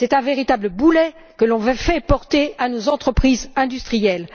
C'est un véritable boulet que l'on veut faire porter à nos entreprises industrielles.